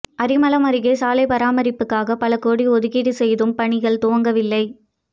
அரிமளம் அருகே சாலை பராமரிப்புக்காக பல கோடி ஓதுக்கீடு செய்தும் பணிகள் துவங்கவில்லை